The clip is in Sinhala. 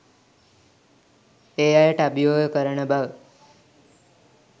ඒ අයට අභියෝග කරන බව